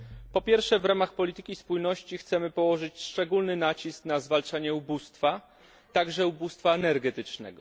Po pierwsze, w ramach polityki spójności chcemy położyć szczególny nacisk na zwalczanie ubóstwa, także ubóstwa energetycznego.